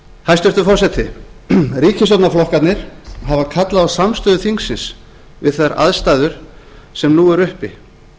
hæstvirtur forseti ríkisstjórnarflokkarnir hafa kallað á samstöðu þingsins við þær aðstæður sem nú eru uppi